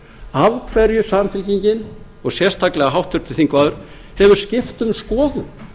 af hverju samfylkingin og sérstaklega háttvirtur þingmaður hefur skipt um skoðun